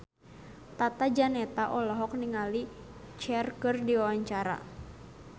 Tata Janeta olohok ningali Cher keur diwawancara